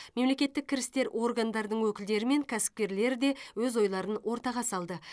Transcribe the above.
мемлекеттік кірістер органдардың өкілдері мен кәсіпкерлері де өз ойларын ортаға салды